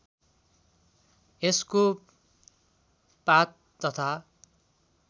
यसको पात तथा